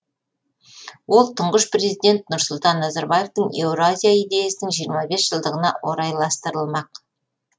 ол тұңғыш президент нұрсұлтан назарбаевтың еуразия идеясының жиырма бес жылдығына орайластырылмақ